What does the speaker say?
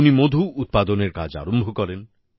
উনি মধু উৎপাদনের কাজ আরম্ভ করেন